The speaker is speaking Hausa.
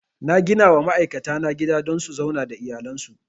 Na ginawa ma'aikata na gida don su zauna da iyalan su